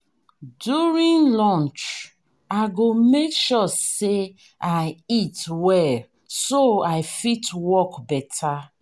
during lunch i go make sure say i eat well so i fit work better.